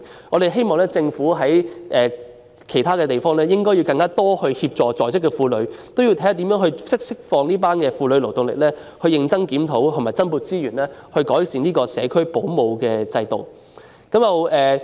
我們希望政府透過其他方式協助在職婦女，釋放她們的勞動力，以及認真檢討及增撥資源，改善社區保姆制度。